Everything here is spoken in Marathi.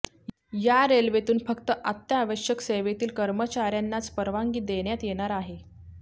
या रेल्वेतून फक्त अत्यावश्यक सेवेतील कर्मचाऱ्यांनाच परवानगी देण्यात येणार आहे